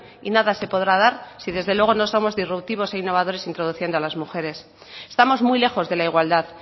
y nada se podrá dar y desde luego no somos irruptivos e innovadores introduciendo a las mujeres estamos muy lejos de la igualdad